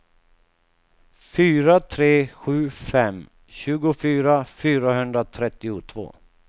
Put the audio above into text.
fyra tre sju fem tjugofyra fyrahundratrettiotvå